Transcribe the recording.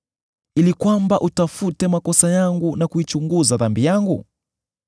ili kwamba utafute makosa yangu na kuichunguza dhambi yangu;